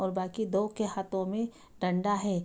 और बाकि दो के हाथो मे डंडा है।